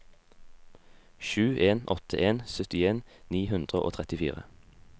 sju en åtte en syttien ni hundre og trettifire